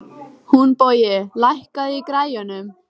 Húnbogi, lækkaðu í græjunum.